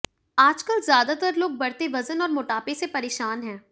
आजकल ज्यादातर लोग बढ़ते वजन और मोटापे से परेशान हैं